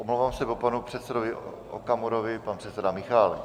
Omlouvám se, po panu předsedovi Okamurovi pan předseda Michálek.